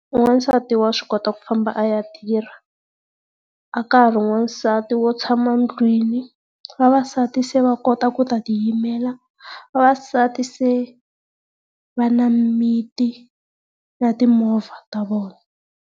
Wansati wa swi kota ku famba a ya tirha, a ka ha ri na wansati wo tshama ndlwini. Vavasati se va kota ku ta ti yimela, vavasati se va na mimiti na timovha ta vona.